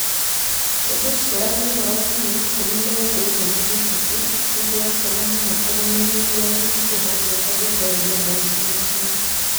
Tũgĩcũrania ũhoro wa mĩeri 12 ĩrĩa mĩhĩtũku, nĩ tũrakena mũno kũmũmenyithia atĩ nĩ tũhotete gũtooria moritũ mamwe.